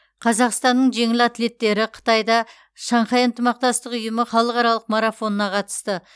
қазақстанның жеңіл атлеттері қытайда шанхай ынтымақтастық ұйымы халықаралық марафонына қатысты